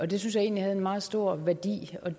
det synes jeg egentlig havde meget stor værdi